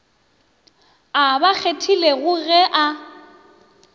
a ba kgethilego ge a